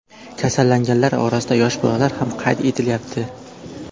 Kasallanganlar orasida yosh bolalar ham qayd etilyapti.